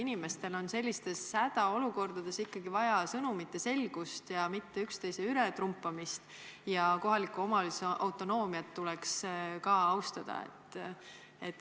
Inimestel on hädaolukorras ikkagi vaja sõnumite selgust, mitte üksteise ületrumpamist, ja kohaliku omavalitsuse autonoomiat tuleks ka austada.